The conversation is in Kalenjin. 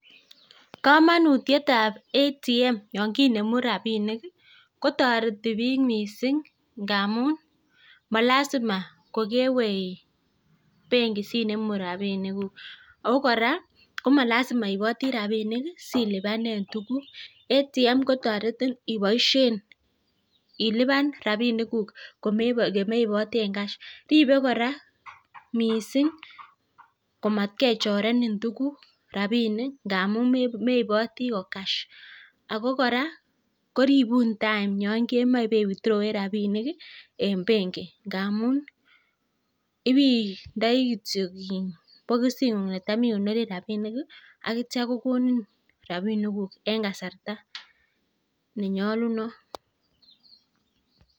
Komonutiet ab ATM yon kinemu rabishek kotoreti biik mising ngamun molazima kokewe benki sinemu rabinikuk ago kora komalzima iiboti rabinik silipanen tuguk. ATM kotoretin iboishen ilipan rabinikuk komeiboten cash ripe kora mising komatkechorenin tuugk-rabinik ngap meiboti ko cash ago kora koribun time yon kemoche ibei withdrawen rabinik en benki ngamun ibeindoi kityo bogisit ye tam ikonoren rabinik ak kityo kogonin rabinikuk en kasarta ne nyolunot.